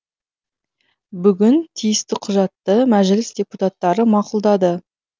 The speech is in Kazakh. бүгін тиісті құжатты мәжіліс депутаттары мақұлдады